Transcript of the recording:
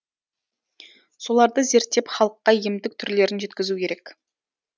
соларды зерттеп халыққа емдік түрлерін жеткізу керек